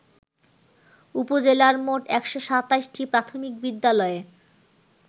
উপজেলার মোট ১২৭টি প্রাথমিক বিদ্যালয়ে